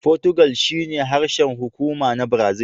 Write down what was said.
Fotigal shine harshen hukuma na Brazil.